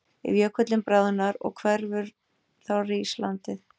Ef jökullinn bráðnar og hverfur þá rís landið.